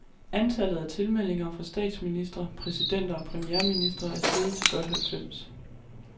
Antallet af tilmeldinger fra statsministre, præsidenter og premierministre er steget til godt halvfems.